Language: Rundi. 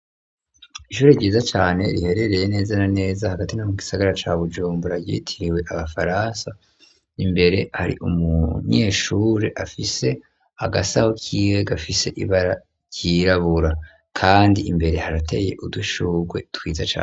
Ishure ryiza cane riherereye neza na neza hagati ngaho mu gisagara ca bujumbura ryitiriwe abafaransa imbere hari umunyeshure afise agasaho kiwe gafise ibara ryirabura kandi imbere harateye udushugwe twiza cane.